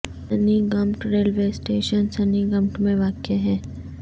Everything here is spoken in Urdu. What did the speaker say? سنی گمبٹ ریلوے اسٹیشن سنی گمبٹ میں واقع ہے